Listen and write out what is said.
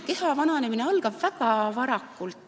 Keha vananemine algab paraku väga varakult.